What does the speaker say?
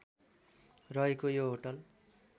रहेको यो होटल